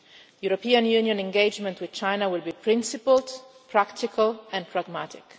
European Union engagement with China will be principled, practical and pragmatic.